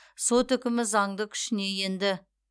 сот үкімі заңды күшіне енді